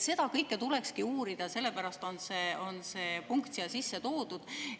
Seda kõike tulekski uurida, sellepärast on see punkt siia sisse toodud.